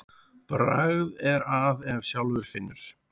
Bragð er að ef sjálfur finnur.